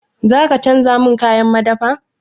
Za ka canja min kayan madafa?